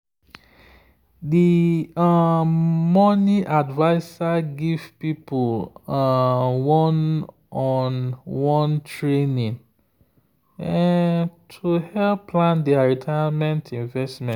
the um money adviser give people um one-on-one training um to help plan their retirement investment.